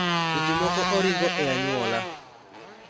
Seche moko oringo e anyuola.